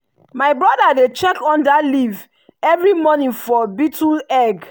my brother dey check under leaf every morning for beetle egg.